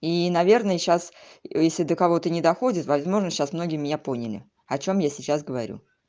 и наверное сейчас если до кого-то не доходит возможно сейчас многие меня поняли о чем я сейчас говорю